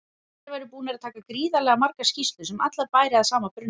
Þeir væru búnir að taka gríðarlega margar skýrslur sem allar bæri að sama brunni.